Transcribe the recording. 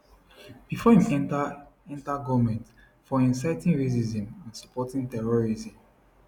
bifor im enta enta goment for inciting racism and supporting terrorism